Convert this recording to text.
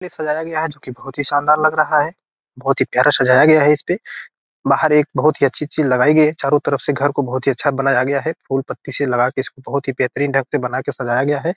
ये सजाया गया है जो की बहुत ही शानदार लग रहा है बहुत ही प्यारा सजाया गया है इसपे बाहर एक बहुत ही अच्छी-अच्छी लगाई गई है चारों तरफ से घर को बहुत ही अच्छा बनाया गया है फूल-पत्ती लगा के इसको बहुत ही बेहतरीं ढंग से बना के सजाया गया है।